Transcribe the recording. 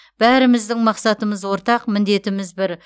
бәріміздің мақсатымыз ортақ міндетіміз бір